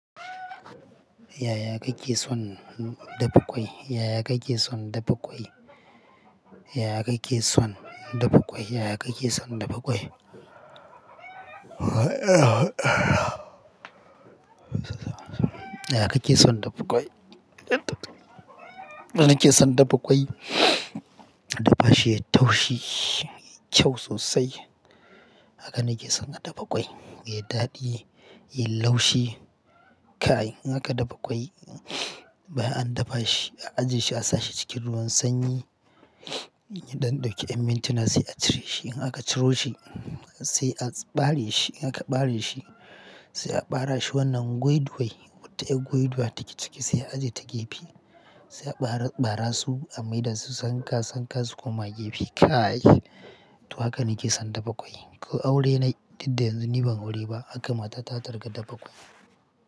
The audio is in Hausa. Yaya kake son dafa ƙwai? Yaya kake son dafa ƙwai? Yaya kake son dafa ƙwai? Yaya kake son dafa ƙwai? Yaya kake son dafa ƙwai? Yadda nake son dafa ƙwai, a dafa shi yayi taushei, yayi kyau sosai. Haka nake son a dafa ƙwai, ya yi daɗi, ya yi laushi. Kai, in aka dafa ƙwai bayan an dafa shi, a aje shi a sashi cikin ruwan sanyi don dauki amincina sai a cire shi. In aka ciro shi sai a ɓare shi. In aka ɓare shi sai a ɓara shi wannan gwaidwai. Wata yar gwaidwa take ciki sai a aje ta gefe. Sai aɓara, ɓara su a maida su sanka-sanka su koma gefe. Kai, to haka nake son dafa ƙwai. Ko aure na, dudda yanzu ni ban aure ba, haka matata zata rika dafa ƙwai.